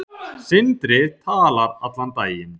eru í vor.